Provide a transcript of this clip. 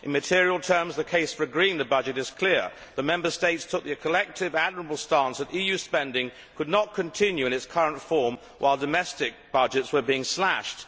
In material terms, the case for agreeing the budget is clear the Member States took the collective admirable stance that EU spending could not continue in its current form while domestic budgets were being slashed.